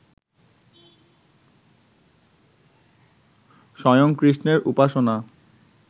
স্বয়ং কৃষ্ণের উপাসনা